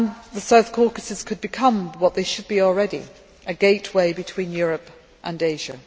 The South Caucasus could become what they should be already a gateway between Europe and Asia.